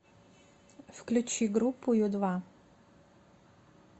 включи группу ю два